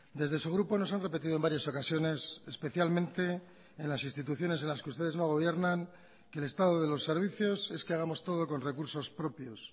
desde su grupo nos han repetido en varias ocasiones especialmente en las instituciones en las que ustedes no gobiernan que el estado de los servicios es que hagamos todo con recursos propios